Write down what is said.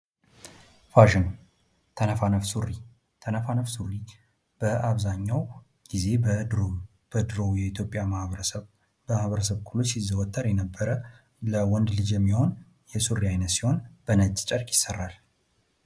ፋሽን፤ ተነፋነፍ ሱሪ፤ ተነፋነፍ ሱሪ በአብዛኛው ጊዜ በድሮው በኢትዮጵያ ማህበረሰብ ሁሉ ሲዘወተር የነበረ፣ ለወንድ ልጅ የሚሆን የሱሪ አይነት ሲሆን በነጭ ጨርቅ ይሰራል።